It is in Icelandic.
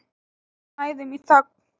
Við snæðum í þögn.